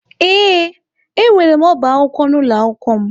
Ee, enwere m ọbá akwụkwọ n'ụlọ akwụkwọ m.